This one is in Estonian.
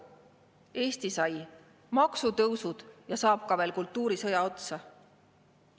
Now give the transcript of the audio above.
Eesti sai maksutõusud ja saab ka veel kultuurisõja otsa.